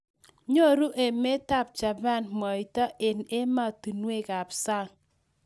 Nyoru emetab Japan mwaito eng ematinwek kab sang